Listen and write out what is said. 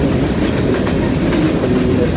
यहां कुछ खिड़कियां भी दिख रही है।